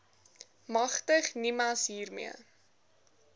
magtig nimas hiermee